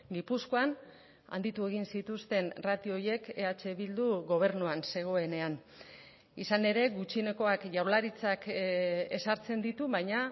gipuzkoan handitu egin zituzten ratio horiek eh bildu gobernuan zegoenean izan ere gutxienekoak jaurlaritzak ezartzen ditu baina